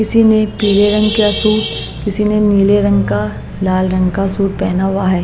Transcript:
किसी ने पीले रंग का सूट किसी ने नीले रंग का लाल रंग का सूट पहना हुआ है।